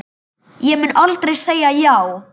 Ég mun aldrei segja já.